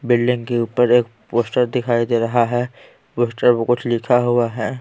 Building के ऊपर एक पोस्टर दिखाई दे रहा है पोस्टर पर कुछ लिखा हुआ है।